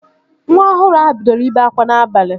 Nwa ọhụrụ ahụ bidoro ibe akwa n'abalị